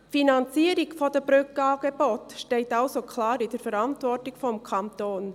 Die Finanzierung der Brückenangebote steht also klar in der Verantwortung des Kantons.